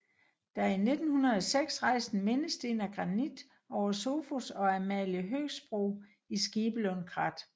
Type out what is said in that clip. Der er 1906 rejst en mindesten af granit over Sofus og Amalie Høgsbro i Skibelund Krat